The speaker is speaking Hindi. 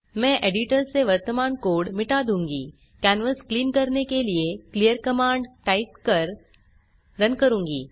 मैं एडिटर से वर्तमान कोड मिटा दूँगी कैनवास क्लीन करने के लिए क्लीयर कमांड टाइप कर रन करुँगी